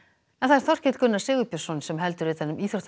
Þorkell Gunnar Sigurbjörnsson heldur utan um íþróttir